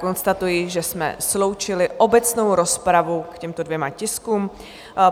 Konstatuji, že jsme sloučili obecnou rozpravu k těmto dvěma tiskům.